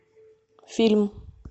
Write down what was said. фильм